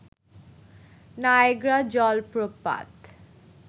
Niagara জলপ্রপাত